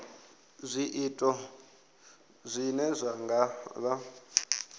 zwiito zwine zwa nga vha